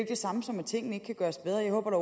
det samme som at tingene ikke kan gøres bedre jeg håber da